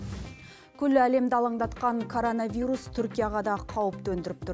күллі әлемді алаңдатқан коронавирус түркияға да қауіп төндіріп тұр